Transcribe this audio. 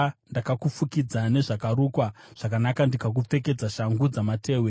Ndakakufukidza nezvakarukwa zvakanaka ndikakupfekedza shangu dzamatehwe.